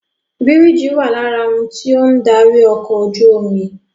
Bírìjì wà lára ohun tí ó ń darí ọkọ̀ ojú omi